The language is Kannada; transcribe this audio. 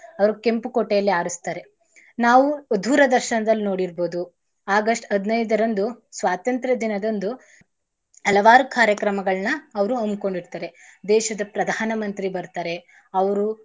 ಅವ್ರು ಕೆಂಪು ಕೋಟೆಯಲ್ಲಿ ಆರಸ್ತರೆ ನಾವು ದೂರದರ್ಶನದಲ್ ನೋಡಿರ್ಬೋದು August ಹದಿನೈದರಂದು ಸ್ವಾತಂತ್ರ ದಿನದಂದು ಅಲವಾರು ಕಾರ್ಯಕ್ರಮಗಳನ್ನ ಅವ್ರು ಅಮ್ಕೊಂಡಿರ್ತಾರೆ. ದೇಶದ ಪ್ರಧಾನ ಮಂತ್ರಿ ಬರ್ತಾರೆ ಅವ್ರೂ.